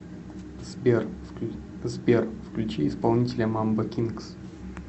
сбер включи исполнителя мамбо кингс